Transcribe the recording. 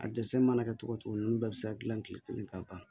A dɛsɛ mana kɛ cogo o cogo ninnu bɛɛ bɛ se ka gilan kile kelen ka ban